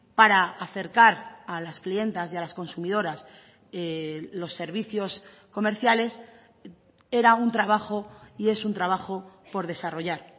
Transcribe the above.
para acercar a las clientas y a las consumidoras los servicios comerciales era un trabajo y es un trabajo por desarrollar